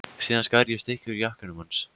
Síðan skar ég stykki úr jakkanum hans.